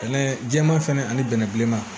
Bɛnɛ jɛman fɛnɛ ani bɛnɛ bilenman